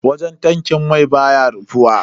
Wajen tankin mai baya rufuwa.